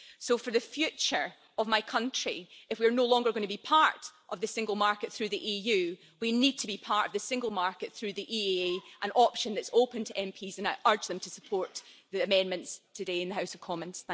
So for the future of my country, if we are no longer going to be part of the single market through the EU, we need to be part of the single market through the EEA, an option that is open to MPs. I urge them to support the amendments today in the House of Commons.